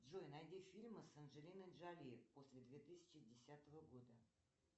джой найди фильмы с анджелиной джоли после две тысячи десятого года